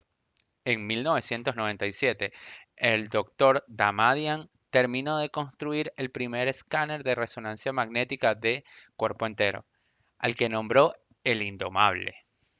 en 1997 el dr. damadian terminó de construir el primer escáner de resonancia magnética de «cuerpo entero» al que nombró el «indomable»